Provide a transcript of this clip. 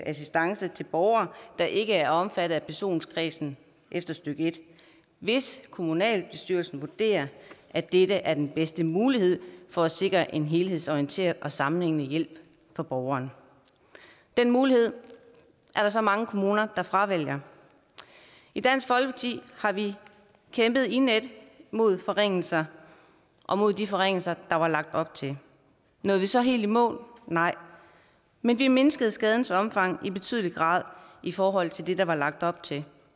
assistance til borgere der ikke er omfattet af personkredsen efter stykke en hvis kommunalbestyrelsen vurderer at dette er den bedste mulighed for at sikre en helhedsorienteret og sammenhængende hjælp for borgeren den mulighed er der så mange kommuner der fravælger i dansk folkeparti har vi kæmpet indædt mod forringelser og mod de forringelser der var lagt op til nåede vi så helt i mål nej men vi mindskede skadens omfang i betydelig grad i forhold til det der var lagt op til